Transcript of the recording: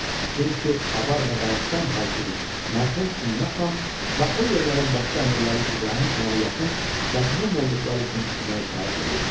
Çünki avar və Dağıstan hakimi mərhum Ümmə xan və o yerlərin başqa əmirləri İbrahim xana yaxın və qohum olduqları üçün ona itaət eləyirdilər.